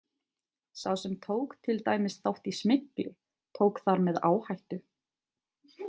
Sá sem tók til dæmis þátt í smygli, tók þar með áhættu.